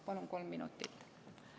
Palun kolm minutit juurde.